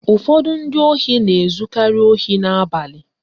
Ụfọdụ ndị ohi na-ezukari ohi n'abalị